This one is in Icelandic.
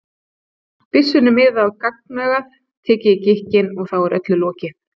byssunni miðað á gagnaugað, tekið í gikkinn, og þá er öllu lokið.